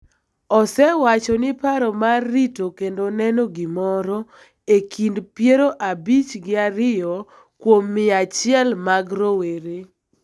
osewacho ni paro mar rito kendo neno gimoro e kind piero abich gi ariyo kuom mia achiel mag rowere